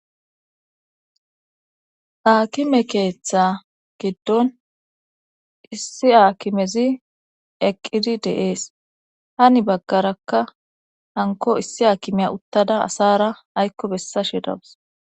Aakime keeththa giddon issi aakimezi eqqidi deees hani baggarakka hanko issi aakimeya uttada asaara aykko bessashe dawus.